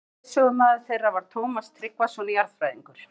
Íslenskur leiðsögumaður þeirra var Tómas Tryggvason jarðfræðingur.